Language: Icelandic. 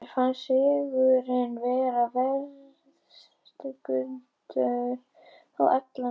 Mér fannst sigurinn vera verðskuldaður á allan hátt.